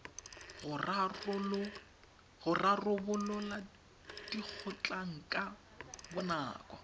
go rarabolola dikgotlhang ka bonako